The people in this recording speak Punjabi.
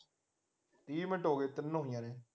ਤੀਹ ਮਿੰਟ ਹੋ ਗਏ ਤਿੰਨ ਹੋਈਆਂ ਨੇ